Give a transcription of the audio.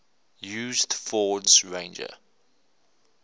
used ford's ranger